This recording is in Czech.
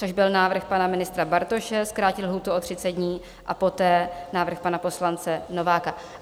Což byl návrh pana ministra Bartoše zkrátit lhůtu o 30 dní a poté návrh pana poslance Nováka.